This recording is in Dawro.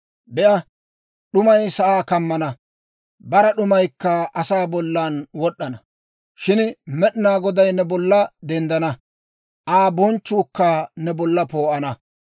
Be'a, d'umay sa'aa kammana; bara d'umaykka asaa bollan wod'd'ana. Shin Med'inaa Goday ne bolla denddana; Aa bonchchuukka ne bolla poo'ana.